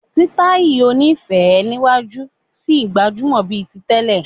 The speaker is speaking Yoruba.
Sítáì oní féé níwájú ṣì gbajúmọ̀ bíi ti tẹ́lẹ̀.